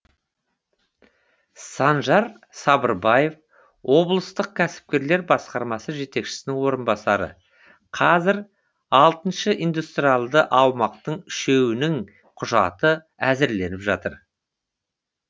санжар сабырбаев облыстық кәсіпкерлік басқармасы жетекшісінің орынбасары қазір алты индустриалды аумақтың үшеуінің құжаты әзірленіп жатыр